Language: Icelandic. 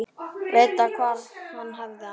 Vita hvar hann hefði hana.